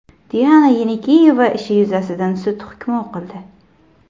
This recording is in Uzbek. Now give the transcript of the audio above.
Diana Yenikeyeva ishi yuzasidan sud hukmi o‘qildi .